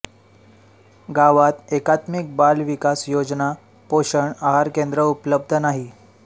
गावात एकात्मिक बाल विकास योजना पोषण आहार केंद्र उपलब्ध नाही